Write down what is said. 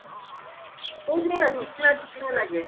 କହୁଛି ବା ଚିକିଣା ଚିକିଣା ଲାଗେ